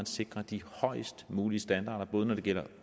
sikre de højest mulige standarder både når det gælder